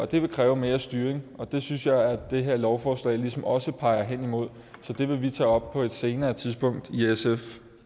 det vil kræve mere styring og det synes jeg at det her lovforslag ligesom også peger henimod så det vil vi tage op på et senere tidspunkt i sf